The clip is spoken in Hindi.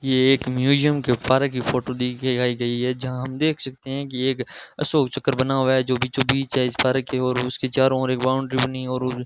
ये एक म्यूजियम के पार्क की फोटो दिखाई गई है जहां हम देख सकते है की एक अशोक चक्र बना हुआ है जो बीचों बीच है इस पार्क की ओर उसके चारों ओर एक बाउंड्री बनी और --